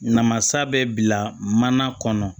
Namasa bɛ bila mana kɔnɔ